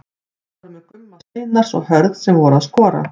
Þeir voru með Gumma Steinars og Hörð sem voru að skora.